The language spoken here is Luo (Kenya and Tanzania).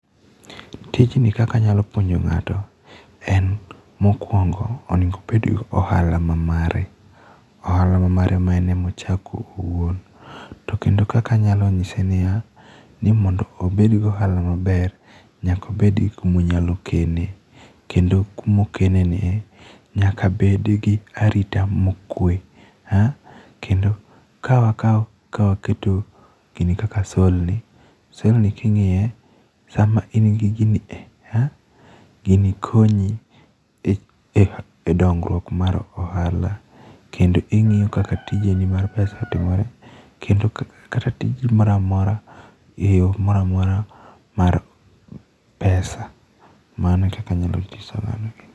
Tijni kaka anyalo puonjo ng'ato en mokuongo onego obed gi ohala ma mare. Ohala ma mare ma en ema ochako owuon. To kendo kaka anyalo nyise ni ya, ni mondo obed gi ohala maber, nyaka obed gi kuma onyalo kene. Kendo kuma okene nie, nyaka bed gi arita mokwee. Kendo ka wakao, ka waketo gini kaka sole ni, sole ni king'iye, sama in gi gini e, gini konyi e dongruok mar ohala. Kendo ing'iyo kaka tijeni mar pesa otimore. Kendo kata tiji moramora e yo moramora mar pesa. Mano e kaka anyalo nyiso ng'ano.